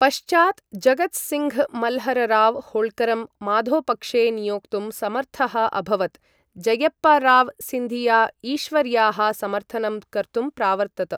पश्चात्, जगत् सिङ्घ्, मल्हरराव् होळ्करं माधोपक्षे नियोक्तुं समर्थः अभवत्, जयप्पाराव् सिन्धिया ईश्वर्याः समर्थनं कर्तुं प्रावर्तत।